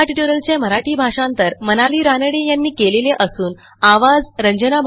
ह्या ट्युटोरियलचे मराठी भाषांतर मनाली रानडे यांनी केलेले असून आवाज